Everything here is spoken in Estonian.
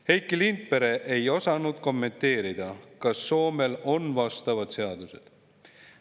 Heiki Lindpere ei osanud kommenteerida, kas Soomel on vastavad seadused olemas.